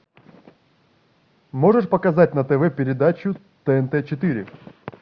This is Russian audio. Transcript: можешь показать на тв передачу тнт четыре